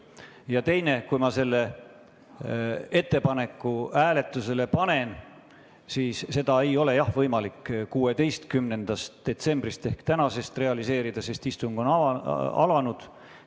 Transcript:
Ja teine asi: kui ma selle ettepaneku hääletusele panen, siis jah, seda ei ole enam võimalik 16. detsembril ehk täna realiseerida, sest istung on juba alanud.